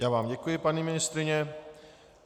Já vám děkuji, paní ministryně.